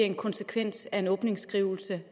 en konsekvens af en åbningsskrivelse